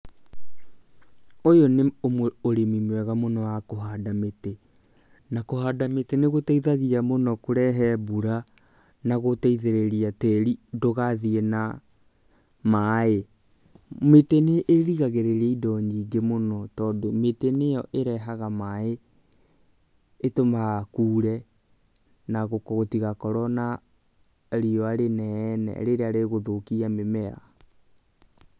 Ũyũ nĩ ũrĩmi mwega mũno wa kũhanda mĩtĩ, na kũhanda mĩtĩ nĩ gũteithagia mũno kũrehe mbura na gũteithĩrĩria tĩri ndũgathiĩ na maaĩ. Mĩtĩ nĩ ĩrigagĩrĩria indo nyingĩ mũno, tondũ mĩtĩ nĩyo ĩrehaga maaĩ, ĩtũmaga kũre na gũtigakorwo na riũa rĩnene rĩrĩa rĩgũthũkia mĩmera.